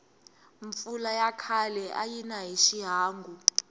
mpfula ya khale ayina hi xihangu